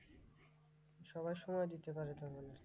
সবাই সময় দিতে পারে তা বলে।